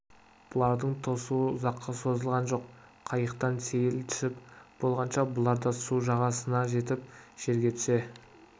бұлардың тосуы ұзаққа созылған жоқ қайықтан сейіл түсіп болғанша бұлар да су жағасына жетті жерге түсе